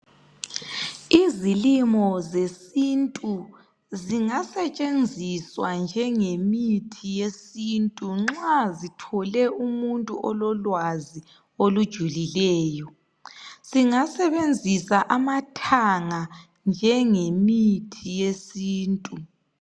Izilimo zesintu zingasetshenziswa njengemithi yesintu nxa zithole umuntu ololwazi olujulileyo. Singasebenzisa amathanga njengemithi yesintu.